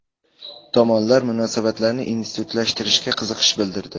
Tomonlar munosabatlarni institutlashtirishga qiziqish bildirdi.